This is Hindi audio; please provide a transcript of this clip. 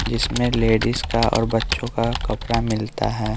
जिसमें लेडीज का और बच्चों का कपड़ा मिलता है।